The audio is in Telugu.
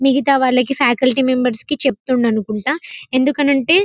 మిగితా వాళ్లకి ఫేకుల్టీ మెంబెర్స్ కి చెప్తును అనుకుంట ఎందుకు అంటే --